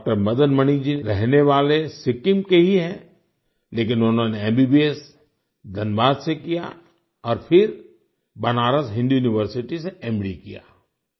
doctor Madan Mani ji रहने वाले सिक्किम के ही हैं लेकिन उन्होंने एमबीबीएस धनबाद से किया और फिर बनारस हिंदू यूनिवर्सिटी से एमडी किया